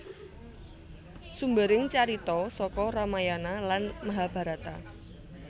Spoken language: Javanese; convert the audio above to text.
Sumbering carita saka Ramayana lan Mahabarata